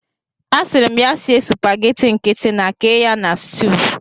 Asịrị m ya sie supageti nkịtị na kee ya na sutuu.